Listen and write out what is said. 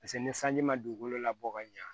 Paseke ni sanji ma dugukolo labɔ ka ɲa